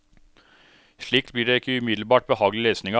Slikt blir det ikke umiddelbart behagelig lesning av.